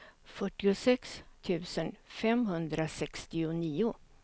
fyrtiosex tusen femhundrasextionio